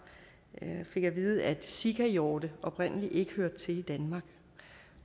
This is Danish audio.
jeg fik at vide at sikahjorte oprindeligt ikke hørte til i danmark